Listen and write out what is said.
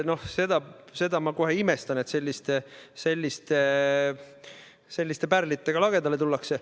Ma kohe imestan, et selliste pärlitega lagedale tullakse.